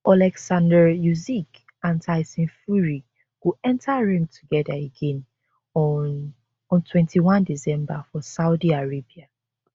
oleksandr usyk and tyson fury go enta ring togeda again on on 21 december for saudi arabia